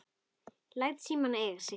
Læt símann eiga sig.